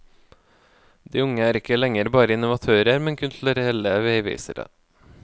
De unge er ikke lenger bare innovatører, men kulturelle veivisere.